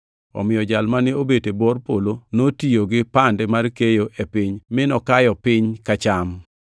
Omiyo jal mane obet e bor polo notiyo gi pande mar keyo e piny, mi nokayo piny ka cham.